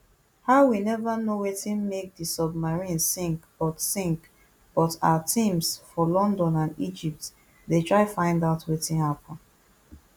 howwe neva know wetin make di submarine sink but sink but our teams for london and egypt dey try find out wetin happun